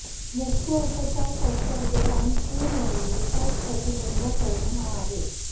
मुख्य उपचार संसर्ग आणि पू होणे विकास प्रतिबंध करणे हा आहे